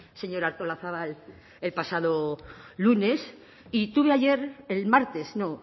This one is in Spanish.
señora artolazabal el pasado lunes y tuve ayer el martes no